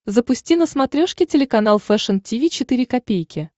запусти на смотрешке телеканал фэшн ти ви четыре ка